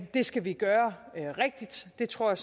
det skal vi gøre rigtigt det tror jeg